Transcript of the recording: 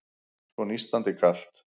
Svo nístandi kalt.